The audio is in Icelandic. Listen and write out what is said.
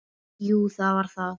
Jú, það var það.